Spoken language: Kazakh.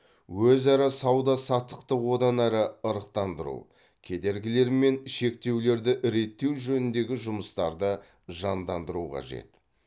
өзара сауда саттықты одан әрі ырықтандыру кедергілер мен шектеулерді реттеу жөніндегі жұмыстарды жандандыру қажет